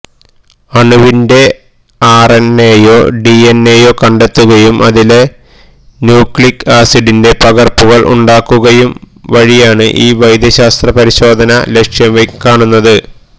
അണുവിന്റെ ആർഎൻഎയോ ഡിഎൻഎയോ കണ്ടെത്തുകയും അതിലെ ന്യുക്ലിക് ആസിഡിന്റെ പകർപ്പുകൾ ഉണ്ടാക്കുകയും വഴിയാണ് ഈ വൈദ്യശാസ്ത്ര പരിശോധന ലക്ഷ്യം കാണുന്നത്